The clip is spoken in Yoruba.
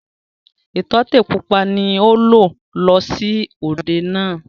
Ìtọ́tè pupa ni ó lò lọ sí òde náà.